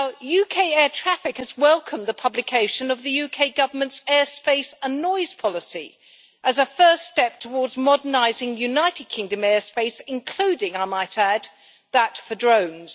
UK Air Traffic Control has welcomed the publication of the UK Government's airspace and noise policy as a first step towards modernising United Kingdom airspace including, I might add, that for drones.